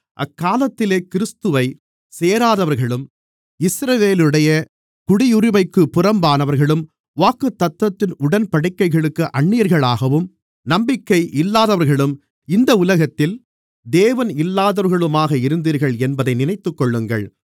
அக்காலத்திலே கிறிஸ்துவைச் சேராதவர்களும் இஸ்ரவேலுடைய குடியுரிமைக்குப் புறம்பானவர்களும் வாக்குத்தத்தத்தின் உடன்படிக்கைகளுக்கு அந்நியர்களாகவும் நம்பிக்கை இல்லாதவர்களும் இந்த உலகத்தில் தேவனில்லாதவர்களுமாக இருந்தீர்கள் என்பதை நினைத்துக்கொள்ளுங்கள்